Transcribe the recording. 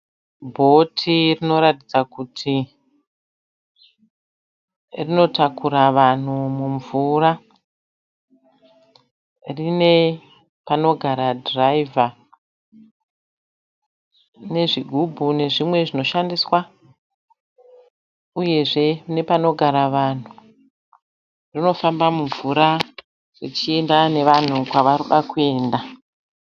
Bhoti rinoratidza kuti rinotakura vanhu mumvura. Rine panogara dhiraivha, nezvugubhu, nezvimwe nezvinoshandiswa, uyezve nepanogara vanhu. Rinofamba mumvura richienda nevanhu kwavari kuda kuenda.